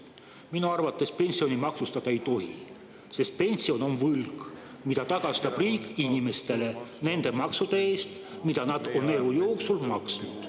Minu arvates pensioni maksustada ei tohi, sest pension on võlg, mille riik tagastab inimestele maksude eest, mida need on elu jooksul maksnud.